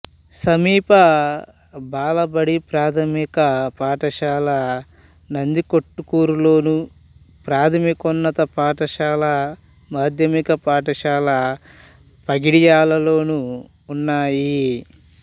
సమీప బాలబడి ప్రాథమిక పాఠశాల నందికొట్కూరులోను ప్రాథమికోన్నత పాఠశాల మాధ్యమిక పాఠశాల పగిడ్యాలలోనూ ఉన్నాయి